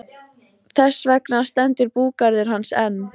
Þess vegna stendur búgarður hans enn.